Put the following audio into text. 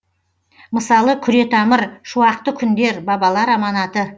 мысалы күретамыр шуақты күндер бабалар аманаты